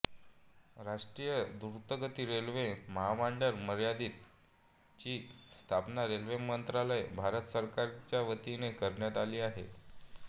राष्ट्रीय द्रुतगती रेल्वे महामंडळ मर्यादित ची स्थापना रेल्वे मंत्रालय भारत सरकारच्या वतीने करण्यात आली आहे